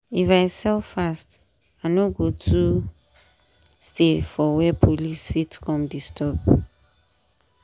if i sell fast i no go too stay for where police fit come disturb.